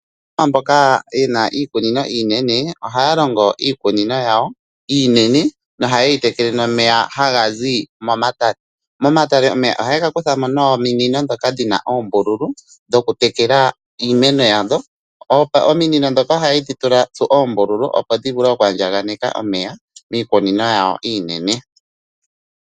Aakwashigwana mboka yena iikunino inene ohaa longo iikunino yawo inene nohayi tekele nomeya haga zi momatale. Momatale omeya ohaye ga kutha mo nominino dhoka dhina oombululu dhoku tekela iimeno yadhoo. Omiinino dhoka ohayedhi tsu oombululu opo dhi vule oku andjakaneka omeya miikunino yawo iinene.